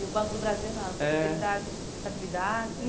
E o Banco do Brasil não, era uma possibilidade de estabilidade?